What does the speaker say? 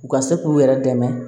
U ka se k'u yɛrɛ dɛmɛ